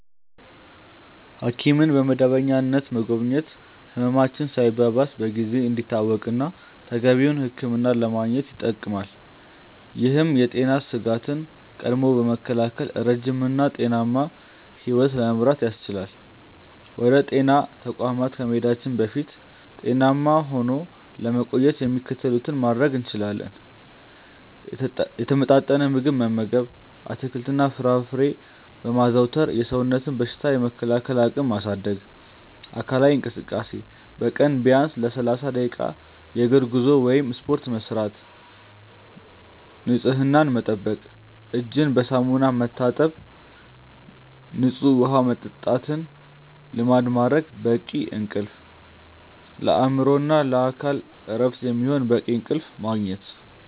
ሐኪምን በመደበኛነት መጎብኘት ህመማችን ሳይባባስ በጊዜ እንዲታወቅና ተገቢውን ሕክምና ለማግኘት ይጠቅማል። ይህም የጤና ስጋትን ቀድሞ በመከላከል ረጅም እና ጤናማ ሕይወት ለመምራት ያስችላል። ወደ ጤና ተቋማት ከመሄዳችን በፊት ጤናማ ሆኖ ለመቆየት የሚከተሉትን ማድረግ እንችላለን፦ የተመጣጠነ ምግብ መመገብ፦ አትክልትና ፍራፍሬን በማዘውተር የሰውነትን በሽታ የመከላከል አቅም ማሳደግ። አካላዊ እንቅስቃሴ፦ በቀን ቢያንስ ለ30 ደቂቃ የእግር ጉዞ ወይም ስፖርት መስራት። ንፅህናን መጠበቅ፦ እጅን በሳሙና መታጠብና ንፁህ ውሃ መጠጣትን ልማድ ማድረግ። በቂ እንቅልፍ፦ ለአእምሮና ለአካል እረፍት የሚሆን በቂ እንቅልፍ ማግኘት።